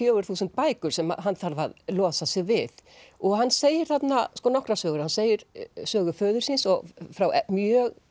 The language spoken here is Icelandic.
fjögur þúsund bækur sem hann þarf að losa sig við og hann segir þarna nokkrar sögur hann segir sögu föður síns og frá mjög